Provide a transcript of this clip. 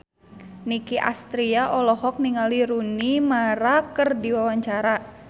Nicky Astria olohok ningali Rooney Mara keur diwawancara